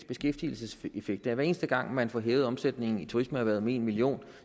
beskæftigelseseffekt hver eneste gang man får hævet omsætningen i turismeerhvervet med en million